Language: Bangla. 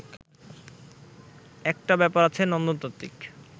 একটা ব্যাপার আছে নন্দনতাত্ত্বিক